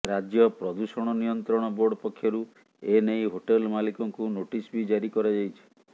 ରାଜ୍ୟ ପ୍ରଦୂଷଣ ନିୟନ୍ତ୍ରଣ ବୋର୍ଡ ପକ୍ଷରୁ ଏ ନେଇ ହୋଟେଲ ମାଲିକଙ୍କୁ ନୋଟିସ୍ ବି ଜାରି କରାଯାଇଛି